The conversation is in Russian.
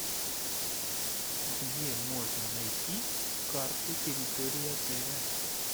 где можно найти карту территории отеля